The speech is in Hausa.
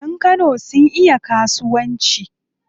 Yan Kano sun iya kasuwanci.